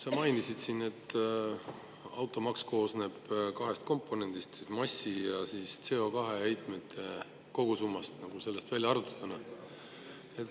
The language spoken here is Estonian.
Sa mainisid, et automaks koosneb kahest komponendist, massi ja CO2-heitmete kogusummast, nagu välja arvutatud on.